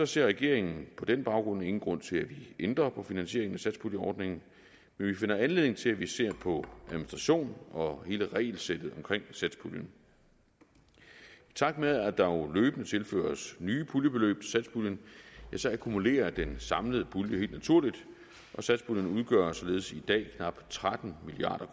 ser regeringen på den baggrund ingen grund til at vi ændrer på finansieringen af satspuljeordningen men vi finder anledning til at vi ser på administrationen og hele regelsættet omkring satspuljen i takt med at der jo løbende tilføres nye puljebeløb satspuljen akkumulerer den samlede pulje helt naturligt og satspuljen udgør således i dag knap tretten milliard